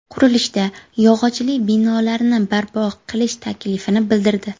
Qurilishda yog‘ochli binolarni barpo qilish taklifini bildirdi.